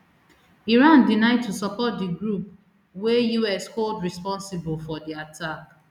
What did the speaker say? iran deny to support di group wey us hold responsible for di attack